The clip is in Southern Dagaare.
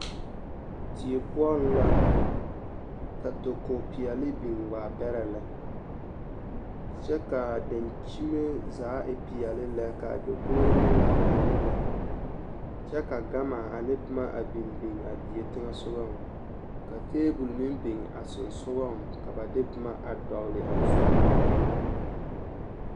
Die poɔŋ la ka dakogi peɛle biŋ waa bɛrɛ lɛ kyɛ k'a dankyime zaa e peɛle lɛ k'a dakogiri meŋ e peɛle lɛ kyɛ ka gama ane boma a biŋ biŋ a die teŋɛsogɔŋ ka teebol meŋ biŋ a sonsogɔŋ ka ba de boma a dɔgele a zu poɔ.